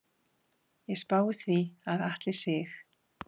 Ég spái því að Atli Sig.